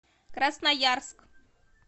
красноярск